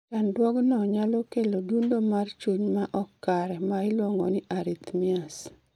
Chandruogno nyalo kelo dundo mar chuny ma ok kare ma iliuongo ni arrhythmias